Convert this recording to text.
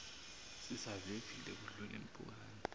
sisavivile kudlula impukane